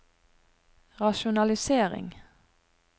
rasjonalisering